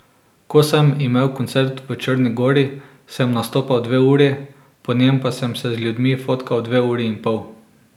Ko sem imel koncert v Črni gori, sem nastopal dve uri, po njem pa sem se z ljudmi fotkal dve uri in pol.